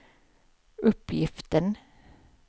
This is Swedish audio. uppgiften